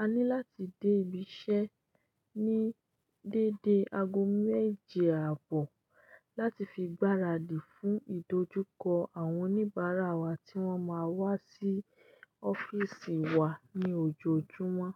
a ní láti dé ibi iṣẹ́ ní dédé aago méje àbọ̀ láti fi gbaradì fún ìdojúkọ àwọn oníbàárà wa tí wọ́n máa wá sí ọ́fíìsì wa ní ojoojúmọ́.